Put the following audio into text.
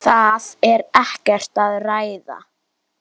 Það er ekkert að ræða.